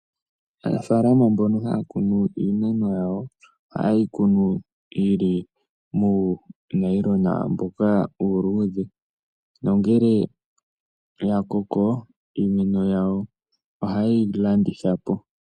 Aanafaalama mbono ha ya kunu iimeno yawo, oha ye yi kunu muunayilonga mboka uuludhe, nongele ya koko iimeno yawo oha ye yi landithapo.